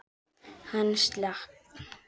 Hann slapp.